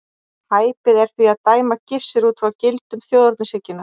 Hæpið er því að dæma Gissur út frá gildum þjóðernishyggjunnar.